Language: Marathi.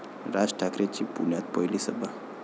राज ठाकरेंची पुण्यात पहिली सभा